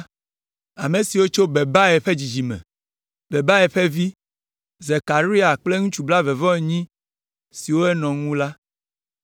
Ame siwo tso Bebai ƒe dzidzime me: Bebai ƒe vi, Zekaria kple ŋutsu blaeve-vɔ-enyi siwo nɔ eŋu la;